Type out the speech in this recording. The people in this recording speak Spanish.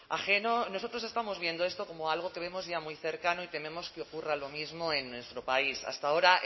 ajeno nosotros estamos viendo esto como algo que vemos ya muy cercano y tememos que ocurra lo mismo en nuestro país hasta ahora